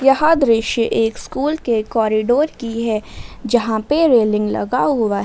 यहां दृश्य एक स्कूल के कॉरिडोर की है जहां पे रेलिंग लगा हुआ है।